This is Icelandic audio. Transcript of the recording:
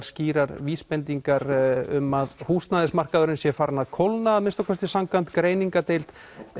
skýrar vísbendingar um að húsnæðismarkaðurinn sé farinn að kólna að minnsta kosti samkvæmt greiningardeild